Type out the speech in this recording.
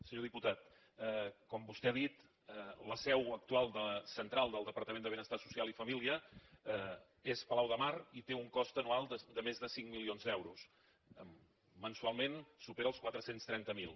senyor diputat com vostè ha dit la seu actual central del departament de benestar social i família és el palau de mar i té un cost anual de més de cinc milions d’euros mensualment supera els quatre cents i trenta miler